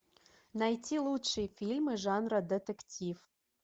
найти лучшие фильмы жанра детектив